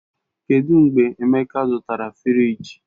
Kedụ mgbe Emeka zụtara fịrij?